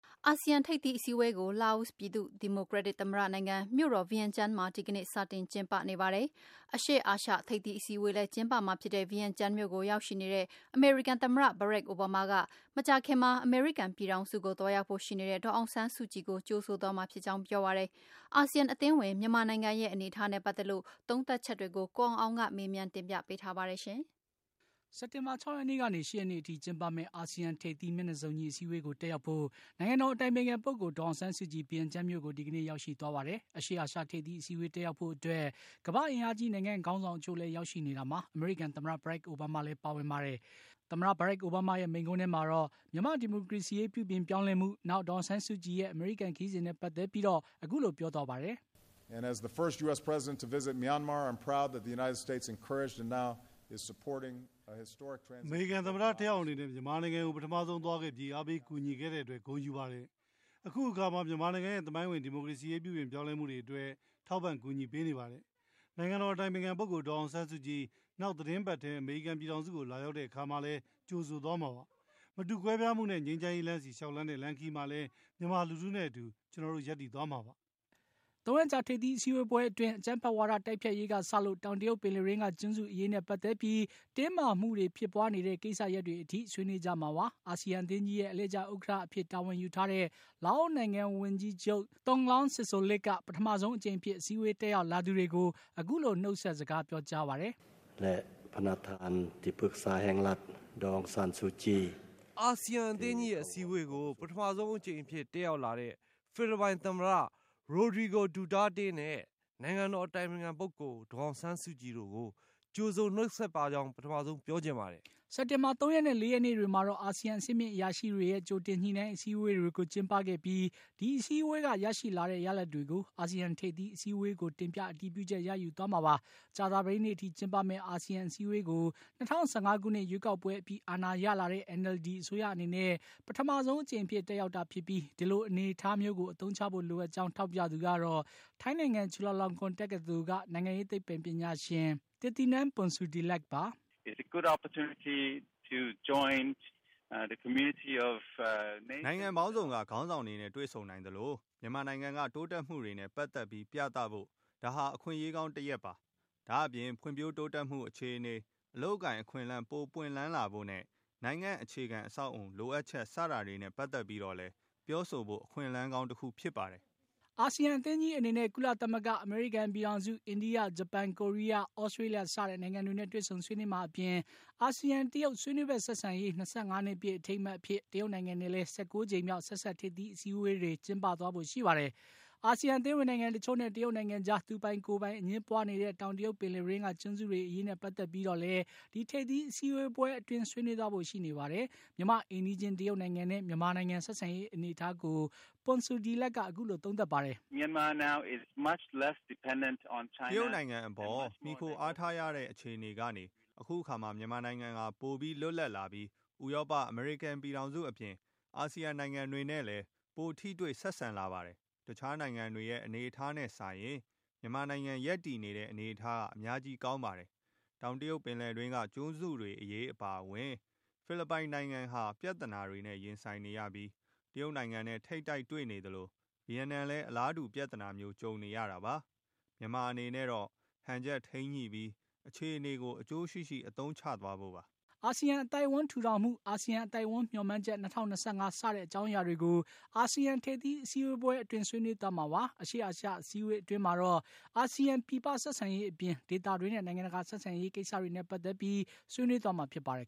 အာဆီယံ ထိပ်သီး အစည်းအဝေးကို လာအို ပြည်သူ့ဒီမိုကရက်တစ်သမ္မတနိုင်ငံ၊ မြို့တော် ဗီယင်ကျန်းမှာ ဒီကနေ့စတင်ကျင်းပနေပါတယ်။ အရှေ့အာရှ ထိပ်သီးအစည်းအဝေးလည်း ကျင်းပမှာဖြစ်တဲ့ ဗီယင်ကျန်းမြို့ကို ရောက်ရှိနေတဲ့ အမေရိကန်သမ္မတ Barack Obama ကမကြာခင်မှာ အမေရိကန်ပြည်ထောင်စုကို သွားရောက်ဖို့ရှိနေတဲ့ ဒေါ်အောင်ဆန်းစုကြည်ကို ကြိုဆိုသွားမှာဖြစ်ကြောင်း ပြောပါတယ်။ ASEAN အသင်းဝင် မြန်မာနိုင်ငံရဲ့ အနေအထားနဲ့ ပတ်သက်လို့ သုံးသပ်ချက်တွေကို ကိုအောင်အောင်က မေးမြန်းတင်ပြပေးထားပါတယ်။ စက်တင်ဘာ ၆ ရက်နေ့ကနေ ၈ ရက်နေ့ထိ ကျုင်းပမယ့် အာဆီယံထိပ်သီး မျက်နှာစုံညီအစည်းအဝေးကို တက်ရောက်ဖို့ နိုင်ငံတော် အတိုင်ပင်ခံပုဂ္ဂိုလ် ဒေါ်အောင်ဆန်းစုကြည် ဗီယင်ကျန်းမြို့ကို ဒီကနေ့ရောက်ရှိသွားပါတယ်။ အရှေ့အာရှ ထိပ်သီးအစည်းအဝေးတက်ရောက်ဖို့ အတွက် ကမ္ဘာ့အင်အားကြီး နိုင်ငံခေါင်းဆောင်အချို့လည်း ရောက်ရှိနေတာမှာ အမေရိကန်သမ္မတ Barack Obama လည်း ပါဝင်ပါတယ်။ မြန်မာ့ဒီမိုကရေစီရေး ပြုပြင်ပြောင်းလဲမှုဖေါ်ဆောင်ရေး တခါ ဒေါ်အောင်ဆန်းစုကြည်ရဲ့အမေရိကန်ပြည်ထောင်စု ခရီးစဉ်နဲ့ ပတ်သက်ပြီး သမ္မတ အိုဘားမားက အခုလိုပြောပါတယ်။ “အမေရိကန်သမ္မတတယောက်အနေနဲ့မြန်မာနိုင်ငံကို ပထမဆုံးသွားခဲ့ပြီး အားပေးကူညီခဲ့တဲ့အတွက် ဂုဏ်ယူပါတယ်။အခုအခါမှာ မြန်မာနိုင်ငံရဲ့ သမိုင်းဝင် ဒီမိုကရေစီရေးပြုပြင်ပြောင်းလဲမှုတွေအတွက် ထောက်ပံ့ကူညီပေးနေပါတယ်။ နိုင်ငံတော်အတိုင်ပင်ခံပုဂ္ဂိုလ် ဒေါ်အောင်ဆန်းစုကြည် နောင် သီတင်းပတ်ထဲ အမေရိကန်ပြည်ထောင်စု ကို လာရောက်တဲ့အခါမှာလည်း ကြိုဆိုသွားမှာပါ။ မတူကွဲပြားမှုနဲ့ ငြိမ်းချမ်းရေးလမ်းဆီ လျှောက်လှမ်းတဲ့ လမ်းခရီးမှာလည်း မြန်မာလူထုနဲ့အတူ ကျနောတို့ ရပ်တည်သွားမှာပါ။” ၃ ရက်ကြာ ထိပ်သီးအစည်းအဝေးပွဲအတွင်း အကြမ်းဖက်ဝါဒ တိုက်ဖျက်ရေး ကစလို့ တောင်တရုတ်ပင်လယ်တွင်းက ကျွန်းစုအရေးနဲ့ ပတ်သက်လို့ တင်းမာမှုတွေဖြစ်ပွါးနေတဲ့ကိစ္စရပ်တွေအထိ ဆွေးနွေးကြမှာပါ။ ASEAN အသင်းကြီးရဲ့ အလှည့်ကျဥက္ကဌ တာဝန်ယူထားတဲ့ လာအိုနိုင်ငံ ဝန်ကြီးချုပ်THONGLOUN SISOULITH က ပထမဆုံးအကြိမ်အဖြစ် အစည်းအဝေးတက်ရောက်လာသူတွေကို အခုလို နှုတ်ဆက်စကား ပြောကြားပါတယ်။ “ASEAN အသင်းကြီးရဲ့ အစည်းအဝေးကို ပထမဆုံးအကြိမ်အဖြစ် တက်ရောက် လာတဲ့ ဖိလစ်ပိုင် သမ္မတ Rodrigo Duterte နဲ့နိုင်ငံတော် အတိုင်ပင်ခံပုဂ္ဂိုလ် ဒေါ်အောင်ဆန်းစုကြည် တို့ကို ကြိုဆိုနှုတ်ဆက်ပါကြောင်း ပထမဆုံးပြောချင်ပါတယ်။” စက်တင်ဘာ ၃ ရက်နဲ့ ၄ ရက်နေ့တွေမှာတော့ အာဆီယံ အဆင့်မြင့်အရာရှိတွေရဲ့ ကြိုတင်ညှိနှိုင်းအစည်းအဝေးတွေကို ကျင်းပခဲ့ပြီး ဒီအစည်းအဝေးက ရရှိလာတဲ့ ရလဒ်တွေကို အာဆီယံထိပ်သီး အစည်းအဝေးကို တင်ပြ အတည်ပြုချက် ရယူသွားမှာပါ။ ကြာသပတေးနေ့အထိ ကျင်းပမယ့် ASEAN အစည်းအဝေးကို ၂၀၁၅ ခုနှစ်ရွေးကောက်ပွဲအပြီး အာဏာရလာတဲ့ NLD အစိုးရအနေနဲ့ ပထမဆုံးအကြိမ်အဖြစ် တက်ရောက်တာဖြစ်ပြီး ဒီလိုအနေအထားမျိုးကို အသုံးချဖို့လိုအပ်ကြောင်း ထောက်ပြသူကတော့ ထိုင်းနိုင်ငံ ချူလာလောင်ကွန် တက္ကသိုလ်က နိုင်ငံရေး သိပ္ပံပညာရှင် Thitinan Pongsudhirakပါ။ “နိုင်ငံပေါင်းစုံက ခေါင်းဆောင်တွေနဲ့ တွေ့ဆုံနိုင်သလို မြန်မာနိုင်ငံက တိုးတက်မှုတွေနဲ့ ပတ်သက်ပြီး ပြသဖို့ ဒါဟာ အခွင့်အရေးကောင်းတရပ်ပါ။ ဒါ့အပြင် ဖွံ့ဖြိုးတိုးတက်မှုအခြေအနေ၊ အလုပ်အကိုင်အခွင့်အလမ်း ပိုပွင့်လန်းလာဖို့နဲ့ နိုင်ငံ အခြေခံ အဆောက်အအုံ လိုအပ်ချက် စတာတွေနဲ့ ပတ်သက်ပြီးတော့ လည်း ပြောဆိုဖို့ အခွင့်အလမ်း ကောင်းတခုဖြစ်ပါတယ်။ ASEAN အသင်းကြီးအနေနဲ့ ကုလသမဂ္ဂ၊ အမေရိကန်ပြည်ထောင်စု၊ အိန္ဒိယ၊ ဂျပန်၊ ကိုရီးယား၊ သြစတေးလျစတဲ့ နိုင်ငံတွေနဲ့ တွေ့ဆုံဆွေးနွေးမှာအပြင် ASEAN တရုတ် ဆွေးနွေးဖက်ဆက်ဆံရေး ၂၅ နှစ်ပြည့် အထိမ်းအမှတ်အဖြစ် တရုတ်နိုင်ငံနဲ့လည်း ၁၉ ကြိမ်မြောက် ဆက်စပ်ထိပ်သီးအစည်းအဝေးတွေ ကျင်းပသွားဖို့ရှိပါတယ်။ ASEAN အသင်းဝင်နိုင်ငံအချို့နဲ့ တရုတ်နိုင်ငံကြား သူပိုင်ကိုယ်ပိုင် အငြင်းပွါးနေတဲ့ တောင်တရုတ်ပင်လယ်တွင်းက ကျွန်းစုတွေအရေးနဲ့ ပတ်သက်ပြီးတော့လည်း ဒီထိပ်သီးအစည်းအဝေးပွဲတွေ အတွင်း ဆွေးနွေးသွားဖို့ရှိနေပါတယ်။ မြန်မာ့ အိမ်နီးချင်း တရုတ်နိုင်ငံနဲ့ မြန်မာဆက်ဆံရေး အနေအထားကို Pongsudhirak က အခုလိုသုံးသပ်ပါတယ်။ “တရုတ်နိုင်ငံအပေါ် မှီခိုအားထားရတဲ့အခြေအနေကနေ အခုအခါမှာ မြန်မာနိုင်ငံ ဟာ ပိုလွတ်လပ်လာပြီး ဥရောပ၊ အမေရိကန်ပြည်ထောင်စုအပြင် ASEAN နိုင်ငံတွေနဲ့လည်း ပိုထိတွေ့ ဆက်ဆံလာပါတယ်။ တခြားနိုင်ငံတွေရဲ့ အနေအထားနဲ့စာရင် မြန်မာနိုင်ငံ ရပ်တည်နေတဲ့အနေအထားဟာ အများကြီးကောင်းပါတယ်။ တောင်တရုတ်ပင်လယ်တွင်းက ကျွန်းစုတွေအရေးနဲ့ ပတ်သက်ပြီး ဖိလစ်ပိုင်နိုင်ငံဟာ ပြဿနာတွေနဲ့ ရင်ဆင်နေရပြီး တရုတ်နိုင်ငံနဲ့ ထိပ်တိုက်တွေ့နေသလို ဗီယက်နမ်လည်း အလားတူပြဿနာမျိုး ကြုံနေရတာပါ။ မြန်မာအနေနဲ့တော့ ဟန်ချက်ထိန်းညှိပြီး အခြေအနေကို အကျိုးရှိရှိ အသုံးချသွားဖို့ပါ။” အာဆီယံအသိုက်အဝန်းထူထောင်မှု၊ အာဆီယံအသိုက်အဝန်းမျှော်မှန်းချက် ၂၀၂၅ စတဲ့အကြောင်းအရာတွေကို အာဆီယံထိပ်သီး အစည်းအဝေးပွဲအတွင်း ဆွေးနွေး သွားမှာပါ။ အရှေ့အာရှ အစည်းအဝေးအတွင်းမှာတော့ အာဆီယံပြည်ပ ဆက်ဆံရေးအပြင် ဒေသတွင်းနဲ့ နိုင်ငံတကာအရေးကိစ္စတွေနဲ့ပတ်သက်ပြီး ဆွေးနွေး သွားမှာဖြစ်ပါတယ်